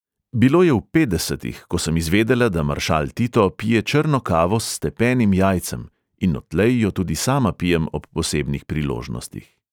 "Bilo je v petdesetih, ko sem izvedela, da maršal tito pije črno kavo s stepenim jajcem, in odtlej jo tudi sama pijem ob posebnih priložnostih."